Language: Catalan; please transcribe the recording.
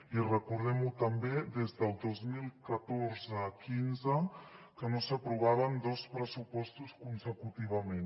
i recordem ho també des del dos mil catorze quinze que no s’aprovaven dos pressupostos consecutivament